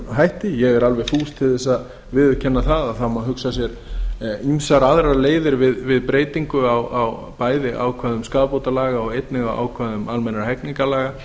hætti ég er alveg fús til þess að viðurkenna að það má hugsa sér ýmsar aðrar leiðir við breytingu bæði á ákvæðum skaðabótalaga og einnig á ákvæðum almennra hegningarlaga